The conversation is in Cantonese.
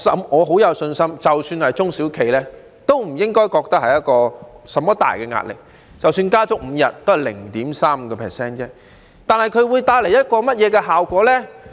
我很有信心，即使是中小企，都不應該覺得有很大壓力，即使加足5天假期，也只是增加 0.35% 而已，這會帶來甚麼效果呢？